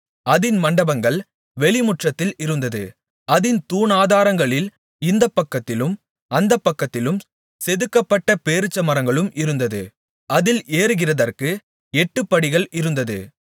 அதின் மண்டபங்கள் வெளிமுற்றத்தில் இருந்தது அதின் தூணாதாரங்களில் இந்தப் பக்கத்திலும் அந்தப் பக்கத்திலும் செதுக்கப்பட்ட பேரீச்சமரங்களும் இருந்தது அதில் ஏறுகிறதற்கு எட்டுப்படிகள் இருந்தது